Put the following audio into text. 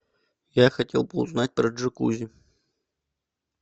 я хотел бы узнать про джакузи